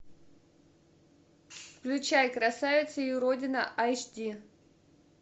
включай красавица и уродина аш ди